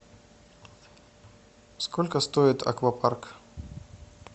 сколько стоит аквапарк